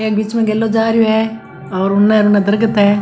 एक बिच में गेलो जा रियो हे और उनने उनने दरकत हे।